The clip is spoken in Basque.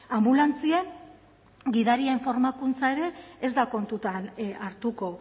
anbulantzien gidarien formakuntza ere ez da kontuan hartuko